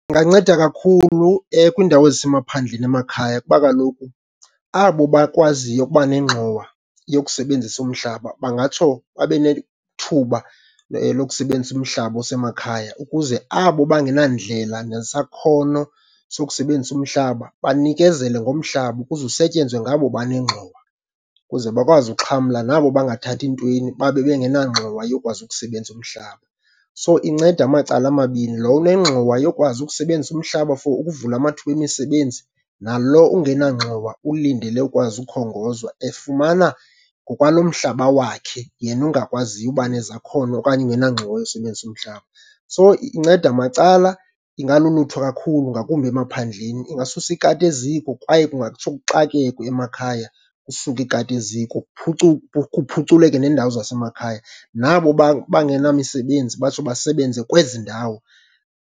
Inganceda kakhulu kwiindawo ezisemaphandleni, emakhaya, kuba kaloku abo bakwaziyo ukuba nengxowa yokusebenzisa umhlaba bangatsho babe nethuba lokusebenzisa umhlaba osemakhaya. Ukuze abo bangenandlela nesakhono sokusebenzisa umhlaba, banikezele ngomhlaba ukuze usetyenzwe ngabo banengxowa ukuze bakwazi ukuxhamla nabo bangathathi ntweni babe bengenangxowa yokwazi ukusebenza umhlaba. So inceda amacala amabini, lo unengxowa yokwazi ukusebenzisa umhlaba for ukuvula amathuba emisebenzi, nalo ungenangxowa ulindele ukwazi ukhongozwa, efumana ngokwalo mhlaba wakhe yena ungakwaziyo uba nezakhono okanye engenangxowa yosebenzisa umhlaba. So inceda macala, ingalulutho kakhulu ngakumbi emaphandleni. Ingasusa ikati eziko kwaye kungatsho kuxakekwe emakhaya, kusuke ikati eziko kuphuculeke neendawo zasemakhaya. Nabo bangenamisebenzi batsho basebenze kwezi ndawo.